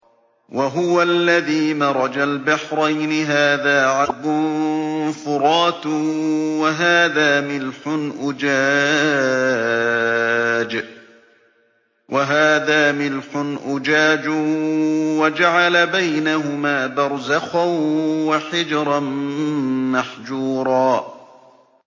۞ وَهُوَ الَّذِي مَرَجَ الْبَحْرَيْنِ هَٰذَا عَذْبٌ فُرَاتٌ وَهَٰذَا مِلْحٌ أُجَاجٌ وَجَعَلَ بَيْنَهُمَا بَرْزَخًا وَحِجْرًا مَّحْجُورًا